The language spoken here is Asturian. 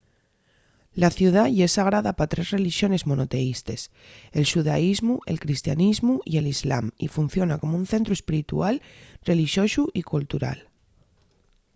la ciudá ye sagrada pa tres relixones monoteístes – el xudaísmu el cristianismu y l’islam y funciona como un centru espiritual relixosu y cultural